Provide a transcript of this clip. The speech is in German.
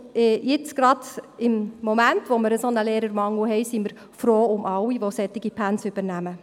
Jetzt gerade in diesem Moment, in dem wir einen solchen Lehrermangel haben, sind wir froh um alle, die solche Pensen übernehmen.